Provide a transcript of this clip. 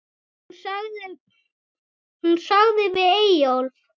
Hún sagði við Eyjólf